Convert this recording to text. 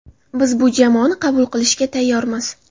Biz bu jamoani qabul qilishga tayyormiz.